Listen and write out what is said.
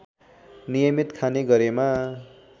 नियमित खाने गरेमा